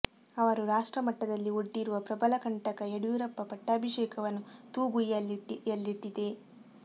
ಅವರು ರಾಷ್ಟ್ರ ಮಟ್ಟದಲ್ಲಿ ಒಡ್ಡಿರುವ ಪ್ರಬಲ ಕಂಟಕ ಯಡಿಯೂರಪ್ಪ ಪಟ್ಟಾಭಿಷೇಕವನ್ನು ತೂಗುಯ್ಯಾಲೆಯಲ್ಲಿಟ್ಟಿದೆ